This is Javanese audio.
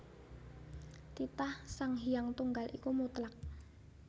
Titah Sang Hyang Tunggal iku mutlak